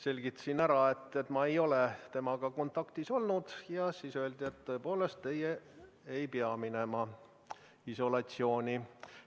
Selgitasin ära, et ma ei ole temaga kontaktis olnud, ja siis öeldi, et tõepoolest teie ei pea minema isolatsiooni.